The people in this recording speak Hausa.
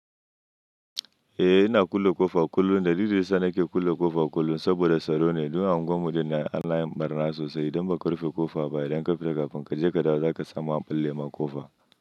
Eh ina kulle ƙofa kullum. Dalilin da yasa nake kulle ƙofa kullum saboda tsaro ne. Don anguwanmu dinnan anayin ɓarna sosai. Idan ba ka rufe ƙofa ba idan ka fita, kafin ka je ka dawo za ka samu an balle ma ƙofa.